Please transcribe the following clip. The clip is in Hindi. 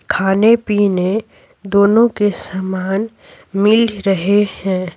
खाने-पीने दोनों के समान मिल रहे है।